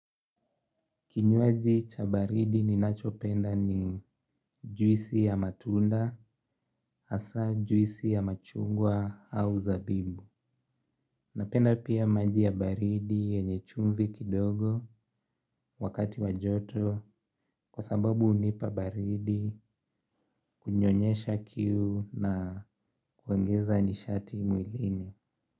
Kinywaji cha baridi ninachopenda ni juisi ya matunda hasa juisi ya machungwa au zabibu. Napenda pia maji ya baridi yenye chumvi kidogo wakati wa joto kwa sababu hunipa baridi kunyonyesha kiu na kuongeza nishati mwilini.